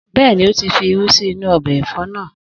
Bẹ́ẹ̀ni, ó ti fi irú sí inú ọbẹ̀ ẹ̀fọ́ náà.